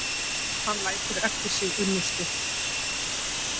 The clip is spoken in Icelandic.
Hann lætur eftir sig unnustu